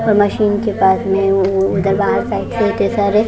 और मशीन के पास लेनन सारे जगह पर सारे --